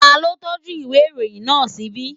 Ta ló tọ́jú ìwé ìròyìn náà ṣíbí?